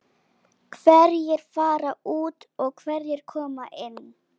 Hverjir fara út og hverjir koma inn?